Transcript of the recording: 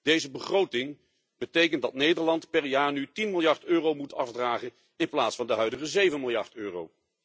Deze begroting betekent dat Nederland per jaar nu 10 miljard euro moet afdragen in plaats van de huidige 7 miljard euro.